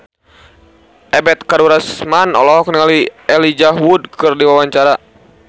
Ebet Kadarusman olohok ningali Elijah Wood keur diwawancara